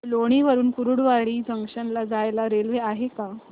लोणी वरून कुर्डुवाडी जंक्शन ला जायला रेल्वे आहे का